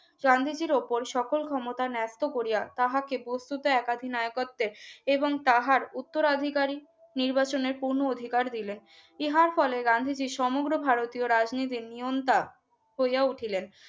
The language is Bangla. গান্ধীজীর উপর সকল ক্ষমতা নৃত্য করিয়া তাহাকে বস্তুতে একাধী নায়িকতের এবং তাহার উত্তর আধিকারী নির্বাচনের পূর্ণ অধিকার দিলে ইহার ফলে গান্ধীজীর সমগ্র ভারতীয় রাজনীতিরনিয়নটা হইয়া উঠিলেন